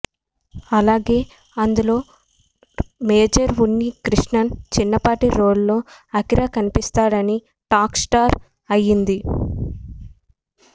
అలాగే ఇందులో మేజర్ ఉన్ని కృష్ణన్ చిన్నప్పటి రోల్ లో అఖీరా కనిపిస్తాడని టాక్ స్టార్ట్ అయ్యింది